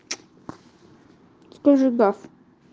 скажи гав